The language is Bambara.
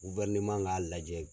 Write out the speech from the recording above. guwɛrineman k'a lajɛ